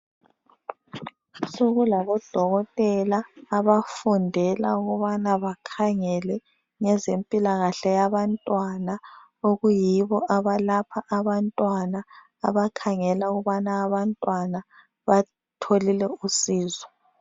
Sokulabo dokotela abafundela ukubana bakhangele ngezemphilakahle yabantwana. Okuyibo abalapha abantwana, abakhangela ukubana abantwana batholile usizo.